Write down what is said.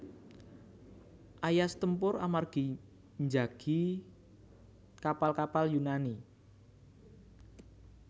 Aias tempur amargi njagi kapal kapal Yunani